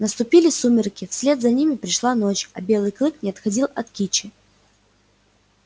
наступили сумерки вслед за ними пришла ночь а белый клык не отходил от кичи